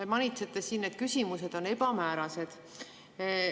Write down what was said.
Te manitsete siin, et küsimused on ebamäärased.